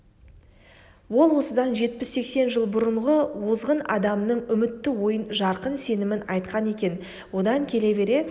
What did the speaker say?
ол осыдан жетпіс-сексен жыл бұрынғы озғын адамның үмітті ойын жарқын сенімін айтқан екен одан келе бере